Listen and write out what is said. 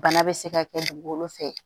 Bana bɛ se ka kɛ dugukolo fɛ